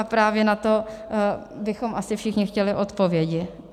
A právě na to bychom asi všichni chtěli odpovědi.